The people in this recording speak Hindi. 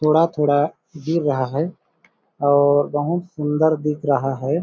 थोड़ा-थोड़ा गिर रहा है और बहुत सुंदर दिख रहा हैं ।